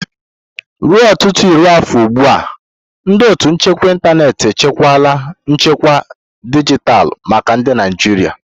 Ruo ọtụtụ iri afọ ugbu a, ndị ótù nchekwa ịntanetị echekwala nchekwa dijitalụ maka ndị Naijiria.